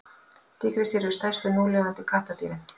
tígrisdýr eru stærstu núlifandi kattardýrin